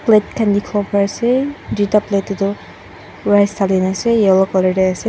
plate khan dikhi wo pari ase tuita plate te toh rice dali ne ase yellow colour te ase.